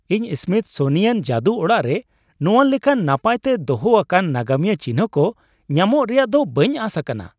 ᱤᱧ ᱥᱢᱤᱛᱷᱥᱳᱱᱤᱭᱟᱱ ᱡᱟᱹᱫᱩ ᱚᱲᱟᱜ ᱨᱮ ᱱᱚᱶᱟ ᱞᱮᱠᱟᱱ ᱱᱟᱯᱟᱭ ᱛᱮ ᱫᱚᱦᱚ ᱟᱠᱟᱱ ᱱᱟᱜᱟᱢᱤᱭᱟᱹ ᱪᱤᱱᱦᱟᱹ ᱠᱚ ᱧᱟᱢᱚᱜ ᱨᱮᱭᱟᱜ ᱫᱚ ᱵᱟᱹᱧ ᱟᱥ ᱟᱠᱟᱱᱟ ᱾